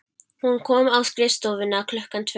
Hún kom á skrifstofuna klukkan tvö.